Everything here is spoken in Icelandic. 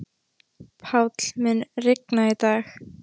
Páll, mun rigna í dag?